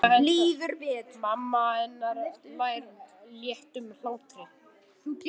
Mamma hennar hlær léttum hlátri.